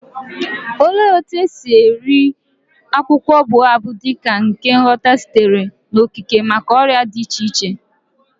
Olee otú e si rie akwụkwọ baobab dị ka ihe ngwọta sitere n'okike maka ọrịa dị iche iche?